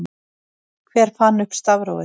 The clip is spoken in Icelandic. hver fann upp stafrófið